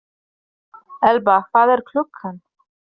Elba, hvað er klukkan?